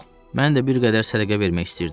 Mən də bir qədər sədəqə vermək istəyirdim.